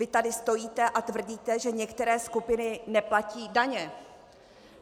Vy tady stojíte a tvrdíte, že některé skupiny neplatí daně.